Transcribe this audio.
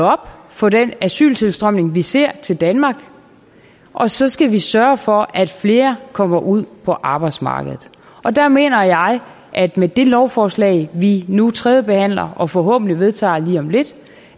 op for den asyltilstrømning vi ser til danmark og så skal vi sørge for at flere kommer ud på arbejdsmarkedet der mener jeg at med det lovforslag vi nu tredjebehandler og forhåbentlig vedtager lige om lidt